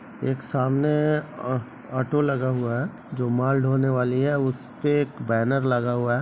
एक सामने अ ऑटो लगा हुआ है जो माल ढोने वाली है उसपे एक बैनर लगा हुआ है।